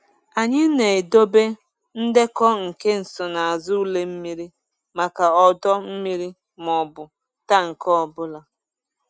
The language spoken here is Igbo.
Anyị na-edobe ndekọ nke nsonaazụ ule mmiri maka ọdọ mmiri maọbụ tank ọ bụla.